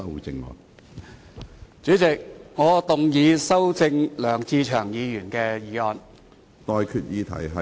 主席，我動議修正梁志祥議員的議案。